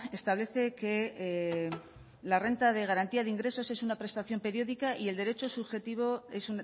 establece que la renta de garantía de ingresos es una prestación periódica y el derecho subjetivo es